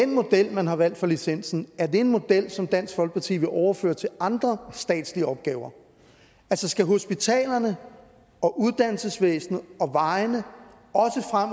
model man har valgt for licensen er en model som dansk folkeparti vil overføre til andre statslige opgaver altså skal hospitalerne og uddannelsesvæsenet og vejene